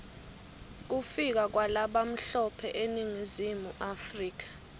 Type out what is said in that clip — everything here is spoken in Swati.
kufika kwalabamhlope eningizimu africa